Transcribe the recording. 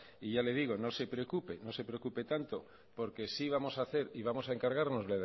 y ya le digo no se preocupe tanto porque sí vamos a hacer y vamos a encargarnos